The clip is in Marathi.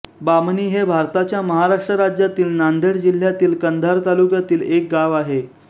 बामणी हे भारताच्या महाराष्ट्र राज्यातील नांदेड जिल्ह्यातील कंधार तालुक्यातील एक गाव आहे